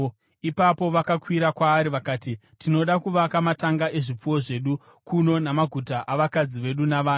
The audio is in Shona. Ipapo vakakwira kwaari vakati, “Tinoda kuvaka matanga ezvipfuwo zvedu kuno namaguta avakadzi vedu navana.